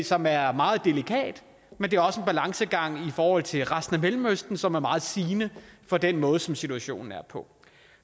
som er meget delikat men det er også en balancegang i forhold til resten af mellemøsten som er meget sigende for den måde som situationen er på